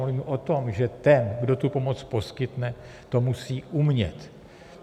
Mluvím o tom, že ten, kdo tu pomoc poskytne, to musí umět.